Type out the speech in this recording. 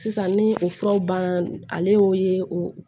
Sisan ni o furaw banna ale y'o ye o